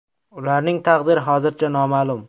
Ularning taqdiri hozircha noma’lum.